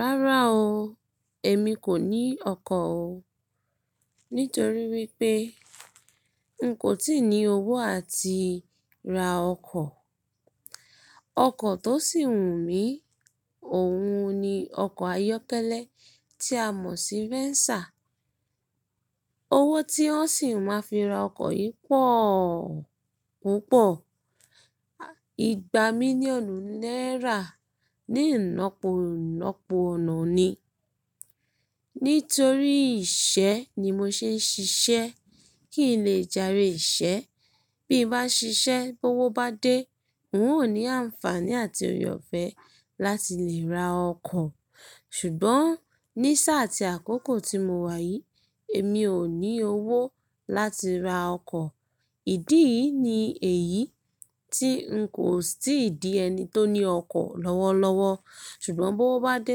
Rárá o, èmi kò ní ọkọ̀ o, nítorí wípé n kò tíì ní owó àti ra ọkọ̀. Ọkọ̀ tó sì wù mí, òun ni ọkọ̀ ayọ́kẹ́lẹ́ tí a mọ̀ sí Venza. Owó tí wọ́n sì máa fi ra ọkọ̀ yìí pọ̀ púpọ̀, igba mílíọ̀nù náírà ní ilopo ilọpo ọ̀nà ni. Nítorí iṣẹ́ ni mo ṣe ń ṣiṣẹ́ kì í lè jàre ìṣe, bí bá ṣiṣẹ́, bówo bá dé, n ó ní àǹfààní àti òre ọ̀fẹ́ láti lè ra ọkọ̀. Ṣùgbọ́n ní sáà àti àkókò tí mo wà yìí, èmi ò ní owó láti ra ọkọ̀. Ìdíyi ni èyí tí n kò tíì di ẹni tó ní ọkọ̀ lọ́wọ́lọ́wọ́. Ṣùgbọ́n bówo bá dé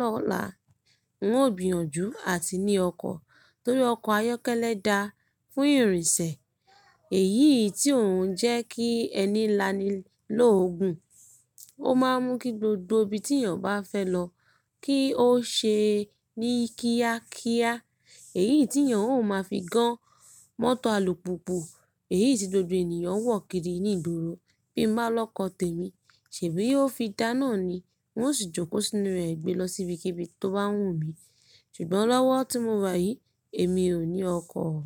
lọ́la, n ó gbìyànjú àti ní ọkọ̀ torí ọkọ̀ ayọ́kẹ́lẹ́ da fún ìrìnsẹ̀. Èyí tí òun jẹ́ kí ẹni lani lóogun, ó máa ń mú kí gbogbo ibi tí èèyàn bá fẹ́ lọ kí ó ṣe ní kíákíá. Èyí tí èèyàn ó máa fi gan mọ́tò alùpùpù, èyí tí gbogbo ènìyàn wọ̀ kiri ní ìgboro. Bí mo bá lọ́kọ̀ tèmi, ṣèbí ó fi dá ná ni hun o sì jókòó sínú rẹ gbe lọ síbikíbi tó bá wù mí. Ṣùgbọ́n lọ́wọ́ tí mo wà yìí, èmi ò ní ọkọ̀ o.